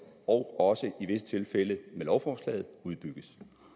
og også i visse tilfælde med lovforslaget udbygges